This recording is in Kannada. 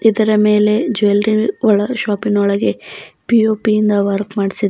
ಇದರ ಮೇಲೆ ಜ್ಯುವೆಲರಿ ಒಳಗೆ ಶಾಪಿನೊಳಗೆ ಪಿ_ಓ_ಪಿ ಇಂದ ವರ್ಕ್ ಮಾಡಿಸಿ --